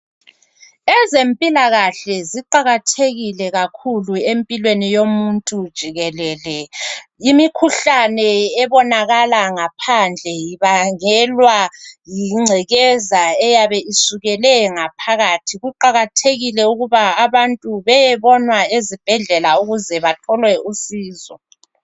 Ezempilakahle, ziqakathekile kakhulu empilweni yomuntu jikelele. Imikhuhlane ebonakala ngaphandle ibangelwa yingcekeza eyabe isukele ngaphakathi. Kuqakathekile ukuba abantu beyebonwa ezibhedlela ukuze bathole usizo.